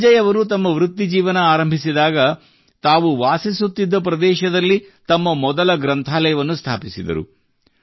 ಸಂಜಯ್ ಅವರು ತಮ್ಮ ವೃತ್ತಿಜೀವನ ಆರಂಭಿಸಿದಾಗ ತಾವು ವಾಸಿಸುತ್ತಿದ್ದ ಪ್ರದೇಶದಲ್ಲಿ ತಮ್ಮ ಮೊದಲ ಗ್ರಂಥಾಲಯವನ್ನು ಸ್ಥಾಪಿಸಿದರು